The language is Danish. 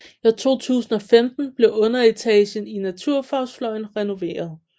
I 2015 blev underetagen i naturfagsfløjen renoveret